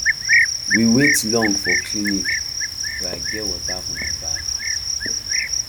we wait long for clinic but i get water for my bag